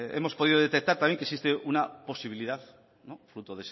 hemos podido detectar también que existe una posibilidad fruto